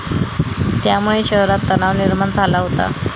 त्यामुळे शहरात तणाव निर्माण झाला होता.